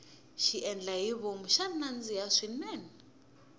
xiendlahivom xa nandzika swinene